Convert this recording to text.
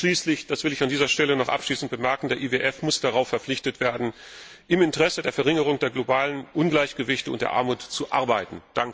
Schließlich das will ich an dieser Stelle noch abschließend bemerken muss der IWF darauf verpflichtet werden, im Interesse der Verringerung der globalen Ungleichgewichte und der Armut zu arbeiten.